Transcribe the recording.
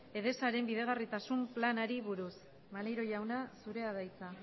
edesaren bideragarritasun planari buruz maneiro jauna zurea da hitza